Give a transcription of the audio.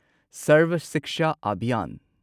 ꯁꯔꯚ ꯁꯤꯛꯁꯥ ꯑꯚꯤꯌꯥꯟ